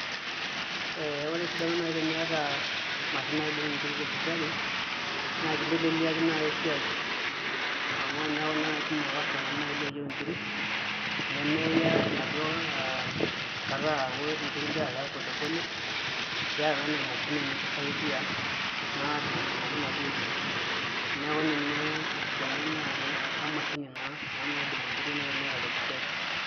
Ee ore esidano nai teniyata mashini naidong inkiri tebushari naa kinteleliaki nai esiae amu eneku ninye nai kumok ilkastomani ooyieu enkiri nimiya enaduo kata aku inkiri ingira Aya polepole iyata naa ena mashini nikisaidia naa adungudungoki naduo kirri neeku ninye esidano naai emashini naa ena naidong inkieri nai teniyata tebuchari.